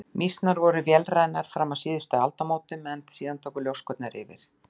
Mýsnar voru vélrænar fram að síðustu aldamótum en síðan tóku ljóskurnar yfir.